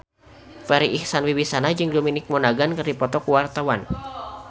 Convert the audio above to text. Farri Icksan Wibisana jeung Dominic Monaghan keur dipoto ku wartawan